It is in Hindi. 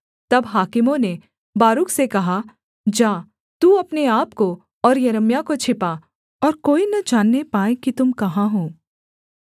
तब हाकिमों ने बारूक से कहा जा तू अपने आपको और यिर्मयाह को छिपा और कोई न जानने पाए कि तुम कहाँ हो